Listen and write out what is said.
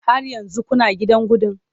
Har yanzu kuna gidan gandun?